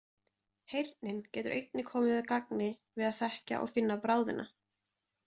Heyrnin getur einnig komið að gagni við að þekkja og finna bráðina.